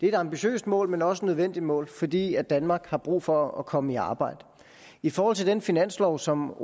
et ambitiøst mål men også et nødvendigt mål fordi danmark har brug for at komme i arbejde i forhold til den finanslov som